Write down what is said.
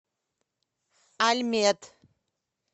альмед